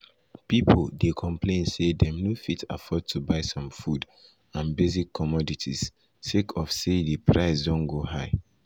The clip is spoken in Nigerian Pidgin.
pipo dey complain say dem no fit afford to buy some food and basic commodities sake of say di price don go high.